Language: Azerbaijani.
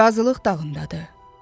Qazılıq dağındadır.